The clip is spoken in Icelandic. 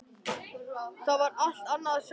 Það var allt annað að sjá hann.